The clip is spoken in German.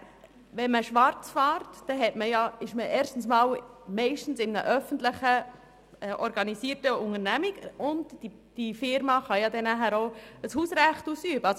Rufener: Wenn man schwarzfährt, ist man meist in einer öffentlich organisierten Unternehmung, die ein Hausrecht ausüben kann.